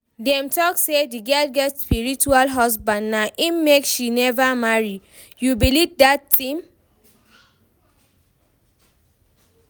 Dem talk say the girl get spiritual husband na im make she never marry, you believe dat thing?